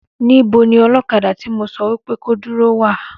Níbo ní olókadà tí mo sọ wípé ko dúró wà